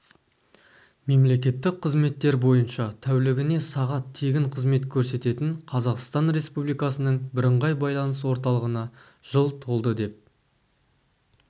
мемлекеттік қызметтер бойынша тәулігіне сағат тегін қызмет көрсететін қазақстан республикасының бірыңғай байланыс орталығына жыл толды деп